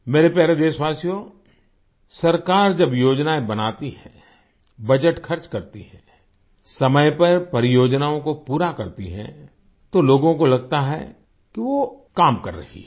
मेरे प्यारे देशवासियो सरकार जब योजनाएँ बनाती है बजट खर्च करती है समय पर परियोजनाओं को पूरा करती है तो लोगों को लगता है कि वो काम कर रही है